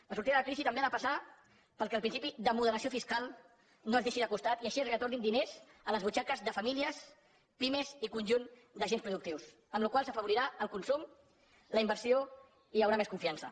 la sortida de la crisi també ha de passar perquè el principi de moderació fiscal no es deixi de costat i així es retornin diners a les butxaques de famílies pimes i conjunt d’agents productius amb la qual cosa s’afavorirà el consum la inversió i hi haurà més confiança